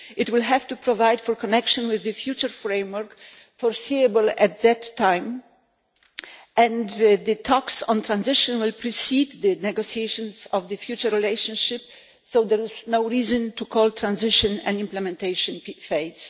It will have to provide for connection with the future framework, foreseeable at that time, and the talks on transition will precede the negotiations on the future relationship, so there is no reason to call transition an implementation phase.